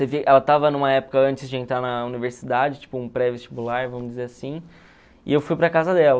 ela estava numa época antes de entrar na universidade, tipo um pré-vestibular, vamos dizer assim, e eu fui para a casa dela.